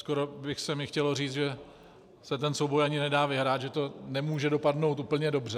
Skoro by se mi chtělo říct, že se ten souboj ani nedá vyhrát, že to nemůže dopadnout úplně dobře.